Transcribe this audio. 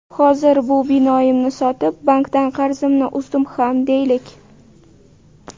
Hozir bu binoimni sotib, bankdan qarzimni uzdim ham deylik.